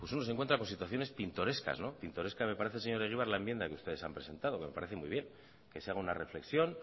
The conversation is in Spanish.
uno se encuentra con situaciones pintorescas pintoresca me parece señor egibar la enmienda que ustedes han presentado que me parece muy bien que se haga una reflexión